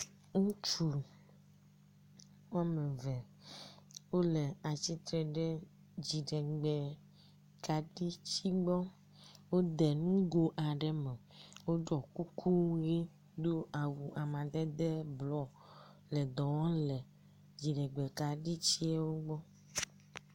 Ŋutsu woame eve wole atsitre ɖe dziɖegbe kaɖiti gbɔ, wode nugo aɖe me, woɖɔ kuku ʋɛ̃, do awu amadede blɔ hele dɔ wɔm le dziɖegbe kaɖitiewo gbɔ.